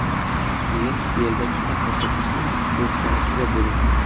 Keyin belda chiqqan ko‘rsatkichni bo‘ksanikiga bo‘ling.